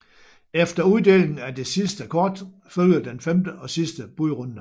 Efter uddelingen af det sidste kort følger den femte og sidste budrunde